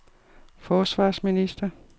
forsvarsminister